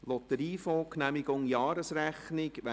«Lotteriefonds Genehmigung der Jahresrechnung 2017».